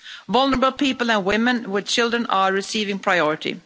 Vulnerable people and women with children are receiving priority.